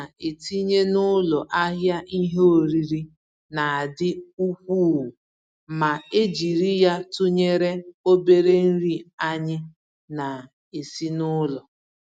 Nri ana-etinye n'ụlọ ahịa ìhè oriri na-adị ukwuu ma e jiri ya tụnyere obere nri anyị na-esi n'ụlọ.